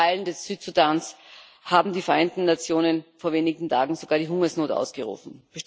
In Teilen des Südsudans haben die Vereinten Nationen vor wenigen Tagen sogar die Hungersnot ausgerufen.